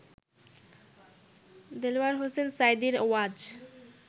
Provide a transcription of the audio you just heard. দেলোয়ার হোসেন সাঈদীর ওয়াজ